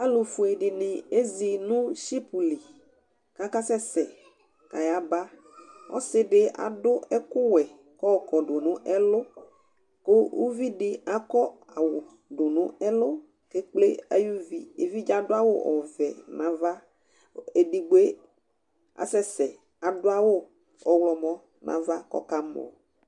alu fue dini ezi nu ship li kaka sɛsɛ kayaba, ɔsi di adu ɛku wɛ kɔkɔdu nu ɛlu, ku uvi di akɔ awu du nu ɛlu kekple ayuvi evidze adu awu ɔvɛ nu ava ku edigboe asɛsɛ adu awu ɔwlɔmɔ nu ava kɔka mɔ